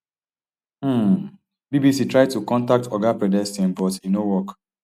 um bbc try to contact oga predestin but e no work